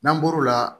N'an bɔr'o la